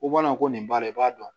Ko bana ko nin b'a la i b'a dɔn